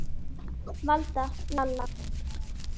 Valda, Lalla.